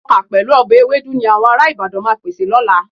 Ọkà pẹ̀lú ọbẹ̀ ewédú ni àwọn ará Ìbàdàn máa pèsè lọ́la.